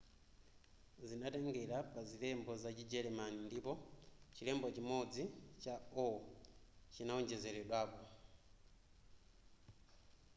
zinatengera pa zilembo za chijeremani ndipo chilembo chimodzi õ/õ” chinawonjezeredwa